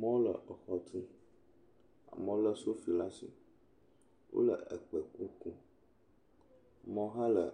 Wole exɔ tum. Amewo lé sofi laa si. Wole ekpeku kum. Amewo hã le